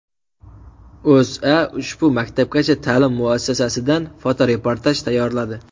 O‘zA ushbu maktabgacha ta’lim muassasasidan fotoreportaj tayyorladi .